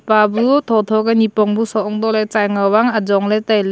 pa bu thotho ke nepong bu soh antoh le tsai ngao ang ajong le tai.